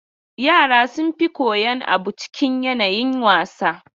Yara sun fi koyan abu cikin yanayin wasa.